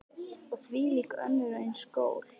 Og þvílík og önnur eins gól.